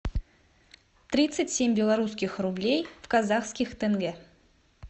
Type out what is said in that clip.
тридцать семь белорусских рублей в казахских тенге